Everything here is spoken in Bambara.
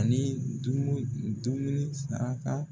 Ani dumu dumuni saraka